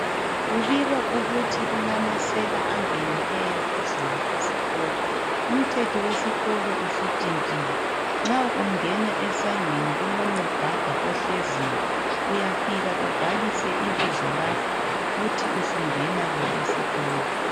kubikwa ukuthi kulamasela angenileyo izolo esikolo umthetho wesikolo sutshintshile ma ungena eskolo esangweni kulo nogada ohleziyo uyaika ubhalise ibizo lakho uthi sungena ke esikolo